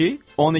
12?